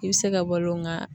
I be se ka balo nga